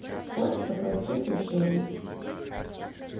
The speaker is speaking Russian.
хочется простых решений